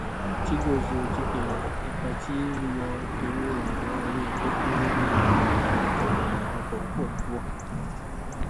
chigozie chikere ipá tí yíyọ owó ìrànwọ orí epo kó lóri ètò ìrìnnàọkọ pọ púpọ